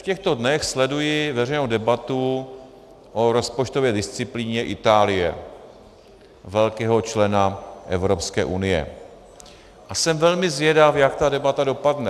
V těchto dnech sleduji veřejnou debatu o rozpočtové disciplíně Itálie, velkého člena Evropské unie, a jsem velmi zvědav, jak ta debata dopadne.